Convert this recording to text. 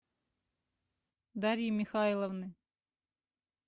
дарьи михайловны